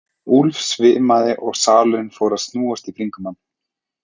Úlf svimaði og salurinn fór að snúast í kringum hann.